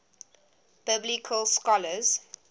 biblical scholars